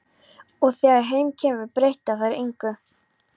Og þegar heim kemur breyta þær engu.